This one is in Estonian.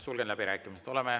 Sulgen läbirääkimised.